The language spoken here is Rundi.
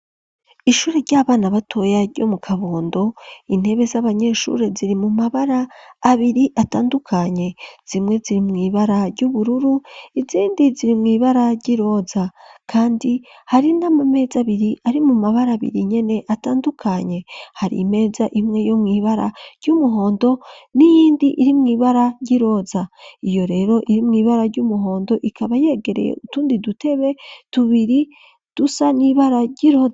Ishure ry'abana batoya ryo mu Kabondo intebe z'abanyeshuri ziri mu mabara abiri atandukanye zimwe ziri mwibara ry'ubururu izindi ziri mwibara ryiroza. Kandi hari nama meza abiri ari mu mabara abiri nyene atandukanye .Hari imeza imwe yo mwibara ry'umuhondo n'iyindi iri mwibara ryiroza iyo rero iri mwibara ry'umuhondo ikaba yegereye utundi dutebe tubiri dusa n'ibara.